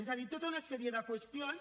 és a dir tota una sèrie de qüestions